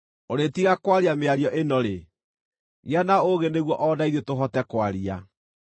“Ũrĩĩtiga kwaria mĩario ĩno rĩ? Gĩa na ũũgĩ nĩguo o na ithuĩ tũhote kwaria.